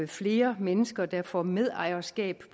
flere mennesker der får medejerskab